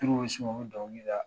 bɛ s'u ma u bɛ dɔnkili la